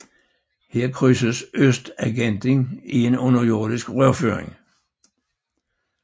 Her krydses Østtangenten i en underjordisk rørføring